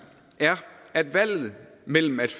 er at valget mellem at